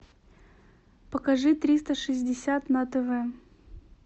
покажи триста шестьдесят на тв